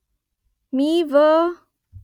मी वा ?